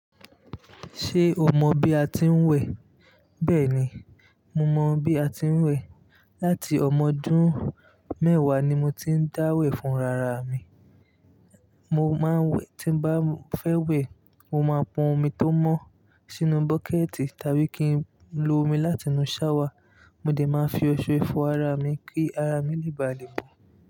Ṣé o mọ bí a ti ń wẹ̀? Bẹ́ẹ̀ni, mo mọ bí a ti ń wẹ̀. Láti ọmọ ọdún mẹ́wàá ni mo ti ń dáwẹ̀ fún ara mi. Mo máa ń wẹ̀, tí n bá fẹ́ wẹ̀, mo máa pọn omi tó mọ́ sínú bọ́kẹ̀tì tàbí kí n lo omi láti inú ṣáwà, mo de máa fi oṣe fọ ara mi kí ara mi lè balẹ̀ mon.